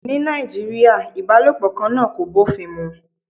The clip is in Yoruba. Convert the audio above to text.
Ní Nàìjíríà, ìbálòpọ̀ kan náà kò bófin mu